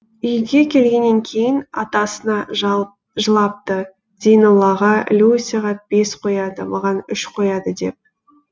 үйге келгеннен кейін атасына жылапты зейноллаға люсяға бес қояды маған үш қояды деп